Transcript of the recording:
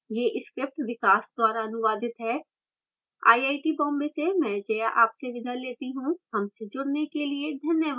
यह script विकास द्वारा अनुवादित है